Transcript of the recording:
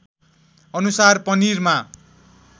अनुसार पनिरमा